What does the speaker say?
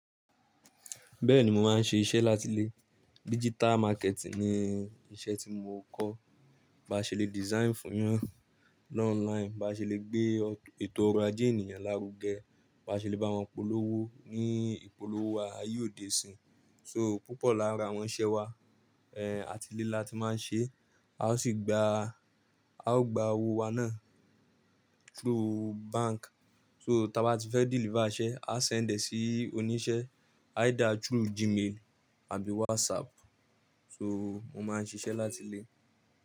Bẹ́ẹ̀ni, mo máa ń ṣe iṣẹ́ láti ilé. Digital marketing ni iṣẹ́ tí mo ń kọ́. Ba ṣe le design fún yan, lọ online, ba ṣe le gbé ètò ọrọ̀ ajé ènìyàn lárugẹ, ba ṣe le bá wọn polówó ní ìpolówó a, aye odé sín. So púpọ̀ láàrin àwọn iṣẹ́ wa, eh, àti ilé láti máa ń ṣe, a ó sì gba, a ó gba owó wa náà through bank. So tí a bá ti fẹ́ deliver iṣẹ́, a send e sí oníṣẹ́ either through Gmail àbí WhatsApp. So mo máa ń ṣiṣẹ́ láti ilé.